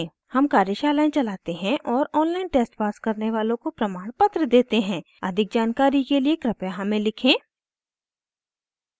हम कार्यशालाएं चलाते हैं और ऑनलाइन टेस्ट पास करने वालों को प्रमाणपत्र देते हैं अधिक जानकारी के लिए कृपया हमें लिखें